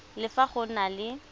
le fa go na le